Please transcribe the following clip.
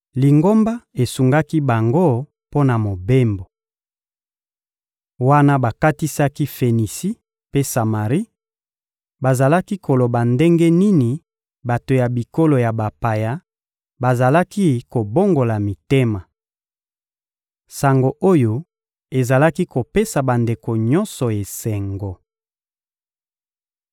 Lingomba esungaki bango mpo na mobembo. Wana bakatisaki Fenisi mpe Samari, bazalaki koloba ndenge nini bato ya bikolo ya bapaya bazalaki kobongola mitema. Sango oyo ezalaki kopesa bandeko nyonso esengo.